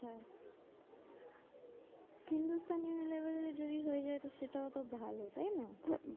হিন্দুস্তান উনিলিভারে যদি হয়ে যায় তো সেটাও তো ভালো তাই না? হম